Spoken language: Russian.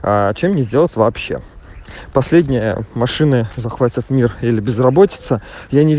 а что мне сделать вообще последнее машины захватят мир или безработица я не